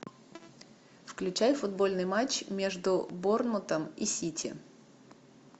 включай футбольный матч между борнмутом и сити